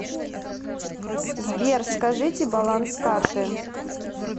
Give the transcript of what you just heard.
сбер скажите баланс карты